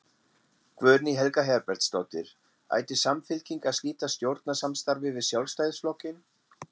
Guðný Helga Herbertsdóttir: Ætti Samfylking að slíta stjórnarsamstarfi við Sjálfstæðisflokkinn?